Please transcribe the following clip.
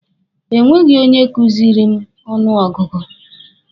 E nweghi onye kuziri m ọnụ ọgụgụ.